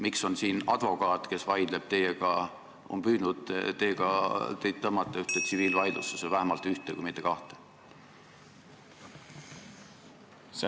Miks on siin advokaat, kes teiega vaidleb ja on püüdnud teid tõmmata tsiviilvaidlusesse, vähemalt ühte, kui mitte kahte?